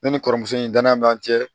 Ne ni kɔrɔmuso in danaya b'an cɛ